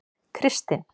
Kristin